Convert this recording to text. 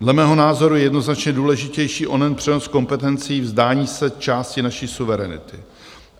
Dle mého názoru je jednoznačně důležitější onen přenos kompetencí, vzdání se části naší suverenity.